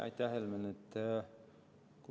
Aitäh, Helmen!